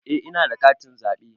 Eh ina da katin zaɓe